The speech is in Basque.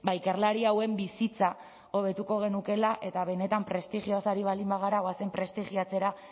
ikerlari hauen bizitza hobetuko genukeela eta benetan prestigioz ari baldin bagara goazen prestigiatzera